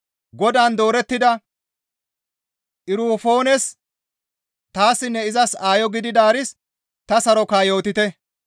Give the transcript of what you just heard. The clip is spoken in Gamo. Godaan doorettida Erufoones, taassinne izas aayo gididaaris ta saroka yootite.